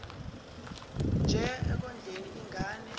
nje ekondleni ingane